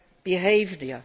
behaviour.